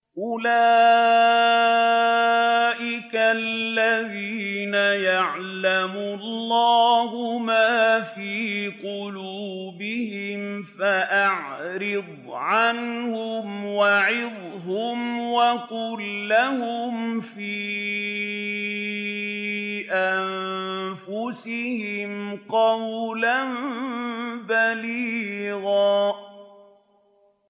أُولَٰئِكَ الَّذِينَ يَعْلَمُ اللَّهُ مَا فِي قُلُوبِهِمْ فَأَعْرِضْ عَنْهُمْ وَعِظْهُمْ وَقُل لَّهُمْ فِي أَنفُسِهِمْ قَوْلًا بَلِيغًا